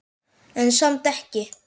En samt ekki.